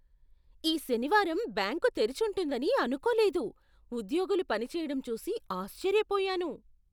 ఈ శనివారం బ్యాంకు తెరిచుంటుందని అనుకోలేదు, ఉద్యోగులు పనిచేయడం చూసి ఆశ్చర్యపోయాను.